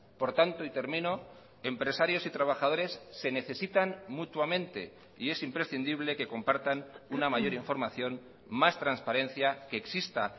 por tanto y termino empresarios y trabajadores se necesitan mutuamente y es imprescindible que compartan una mayor información más transparencia que exista